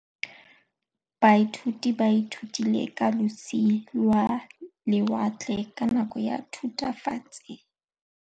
Baithuti ba ithutile ka losi lwa lewatle ka nako ya Thutafatshe.